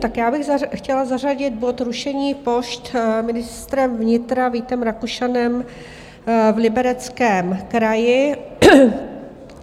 Tak já bych chtěla zařadit bod Rušení pošt ministrem vnitra Vítem Rakušanem v Libereckém kraji.